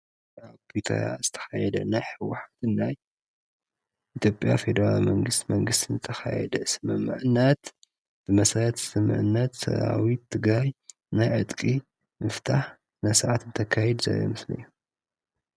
ብዝተኻየደ ናይ ሕወሓትን ናይ ናይ ኢትዮጵያ ፌደራላዊ መንግስቲ ዝተኻየደ ስምምዕነት ብመሰረት ስምምዕነት ሰራዊት ትግራይ ናይ ዕጥቂ ምፍታሕ ስነ ስርዓት እንተካይድ ዘርኢ ምስሊ እዩ፡፡